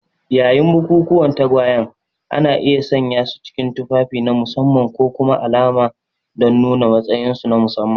Yayin bukukuwan tagwayen, ana iya sanyasu cikin tufafi na musamman ko kuma alama don nuna matsayinsu na musamman.